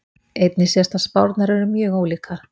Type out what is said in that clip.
Einnig sést að spárnar eru mjög ólíkar.